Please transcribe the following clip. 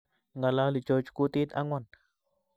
Ngalali George kutit angwan